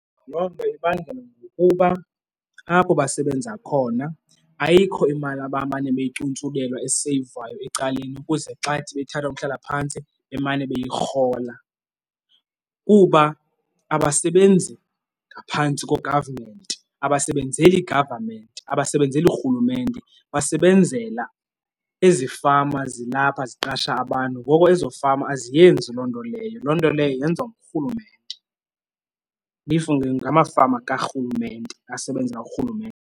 Loo nto ibangela ngokuba apho basebenza khona ayikho imali abamane beyicuntsulelwa eseyivwayo ecaleni ukuze xa bethatha uhlala phantsi bemane beyirhola. Kuba abasebenzi ngaphantsi ko-government, angasebenzeli government, abasebenzeli rhulumente, basebenzela ezi fama zilapha ziqasha abantu, egoko ezo fama aziyenzi loo nto leyo. Loo nto leyo yenziwa ngurhulumente if ngamafama karhulumente, asebenzela .